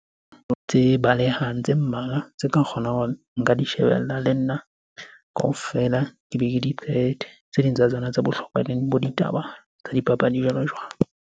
Tse balehang tse mmalwa tse ka kgonang hore nka di shebella le nna kaofela ke be ke di qete. Tse ding tsa tsona tse bohlokwa eleng bo ditaba tsa dipapadi, jwalo-jwalo.